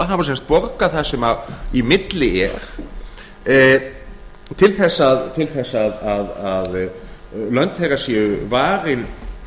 þjóðlendumála hafa sem sagt borgað það sem í milli er til þess að lönd þeirra séu varin